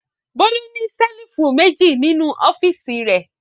Bólú ní ṣẹ́lífù méjì nínú ọ́fíísì rẹ̀.